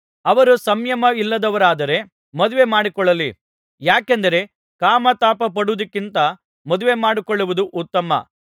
ಅವರು ಸಂಯಮಯಿಲ್ಲದವರಾದರೆ ಮದುವೆಮಾಡಿಕೊಳ್ಳಲಿ ಯಾಕೆಂದರೆ ಕಾಮತಾಪಪಡುವುದಕ್ಕಿಂತ ಮದುವೆಮಾಡಿಕೊಳ್ಳುವುದು ಉತ್ತಮ